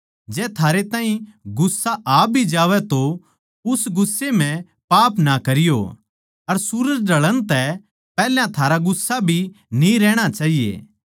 जै थारे ताहीं गुस्सा आ भी आवै तो उस गुस्से म्ह पाप ना करियो अर सूरज ढळण तै पैहल्या थारा गुस्सा भी न्ही रहणा चाहिए